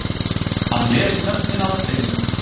Hann les nöfnin af steininum